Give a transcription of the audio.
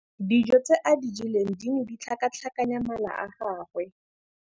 Dijô tse a di jeleng di ne di tlhakatlhakanya mala a gagwe.